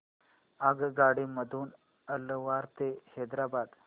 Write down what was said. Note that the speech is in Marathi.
आगगाडी मधून अलवार ते हैदराबाद